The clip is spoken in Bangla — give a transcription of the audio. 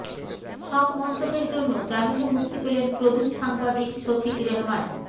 সব মন্তব্যের জন্য জামিনে মুক্তি পেলেন প্রবীণ সাংবাদিক শফিক রেহমান